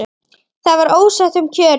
Það var ósætti um kjörin.